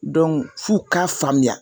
f'u k'a faamuya